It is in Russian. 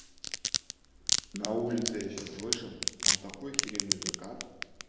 на улице я сейчас вышел там такой охеренный закат